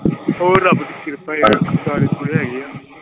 ਹੋਰ ਰੱਬ ਦੀ ਕਿਰਪਾ ਹੀ ਆ ਕਾਗਜ ਪੂਰੇ ਹੈਗੇ ਆ।